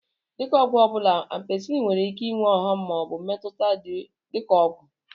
Dị ka ọgwụ ọbụla, Ampisilin nwere ike ịnwe ọghọm ma ọ bụ mmetụta dị ka ọgwụ.